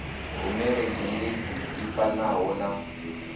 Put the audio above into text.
rumele dzhendedzi ḽi fanaho na